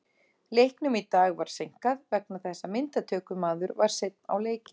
Leiknum í dag var seinkað vegna þess að myndatökumaður var seinn á leikinn.